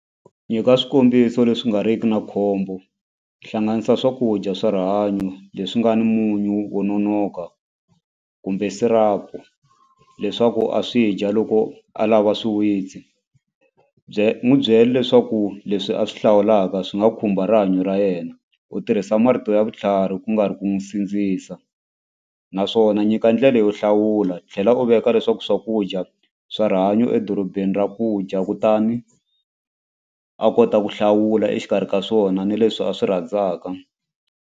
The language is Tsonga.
Nyika swikombiso leswi nga riki na khombo hlanganisa swakudya swa rihanyo leswi nga ni munyu wo nonoka kumbe syrup leswaku a swi dya loko a lava swiwitsi bye n'wu byele leswaku leswi a swi hlawulaka swi nga khumba rihanyo ra yena u tirhisa marito ya vutlhari ku nga ri ku n'wi sindzisa naswona nyika ndlela yo hlawula tlhela u veka leswaku swakudya swa rihanyo edorobeni ra ku dya kutani a kota ku hlawula exikarhi ka swona ni leswi a swi rhandzaka.